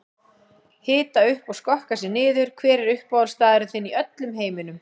Hita upp og skokka sig niður Hver er uppáhaldsstaðurinn þinn í öllum heiminum?